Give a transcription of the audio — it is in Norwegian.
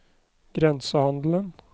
grensehandelen